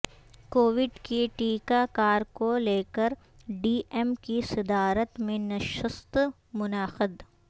Covid کی ٹیکہ کار کو لیکر ڈی ایم کی صدارت میں نشست منعقد